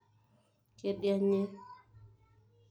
kedianye